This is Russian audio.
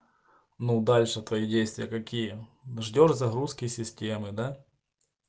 ну дальше твои действия какие ждёшь загрузки системы да